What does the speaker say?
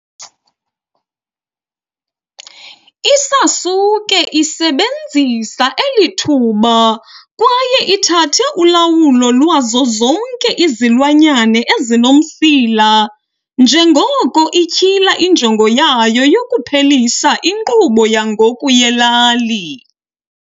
I-Sasuke isebenzisa eli thuba kwaye ithathe ulawulo lwazo zonke izilwanyana ezinomsila, njengoko ityhila injongo yayo yokuphelisa inkqubo yangoku yelali.